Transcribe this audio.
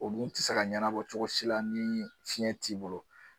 O dun tɛ se ka ɲɛnabɔ cogosi la ni fiyɛn t'i bolo.